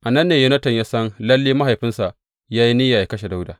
A nan ne Yonatan ya san lalle mahaifinsa ya yi niyya yă kashe Dawuda.